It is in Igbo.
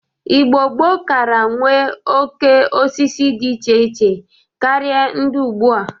Igbo gboo kara nwe oke osisi dị iche iche karị ndị ugbu a.